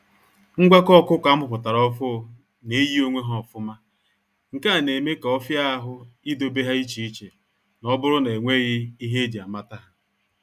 Ngwakọ ọkụkọ amuputara ọfuu na-eyi onwe ha ofụma, nke a na eme ka ọfi ahụ ị dobe ha iche iche, n'oburu na enweghị ihe eji a mata ha.